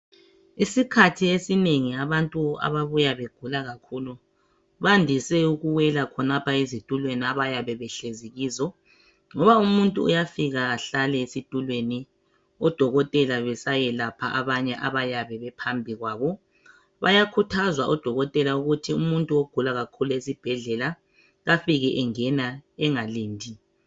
Isikhathi esinengi abantu ababuya begula kakhulu bandise ukuwela khonapha ezitulweni abayabe behlezi kizo, ngoba umuntu uyafika ahlale esitulweni oDokotela besayelapha abanye abayabe bephambi kwabo, bayakhuthazwa oDokotela ukuthi umuntu ogula kakhulu esibhedlela afike engena engalindi.